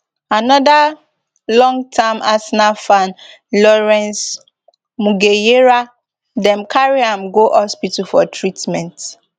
anoda longterm arsenal fan lawrence mugejera dem carry am go hospital for treatment